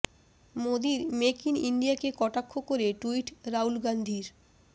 মোদীর make in ইন্ডিয়াকে কটাক্ষ করে টুইট রাহুল গান্ধীর